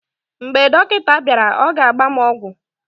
mgbe dọkịta bịara, ọ ga-agba m ọgwụ